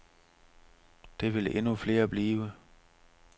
Det vil endnu flere blive.